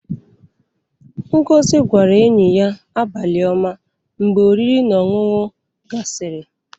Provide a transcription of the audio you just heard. Ngozi gwara enyi ya "Abali oma" mgbe oriri na ọṅụṅu gasiri.